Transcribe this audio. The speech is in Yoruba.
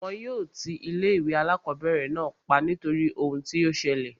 Wọn yóò ti ilé ìwé alákọ̀berẹ̀ náà pa nítorí ohun tí o ṣẹlẹ̀.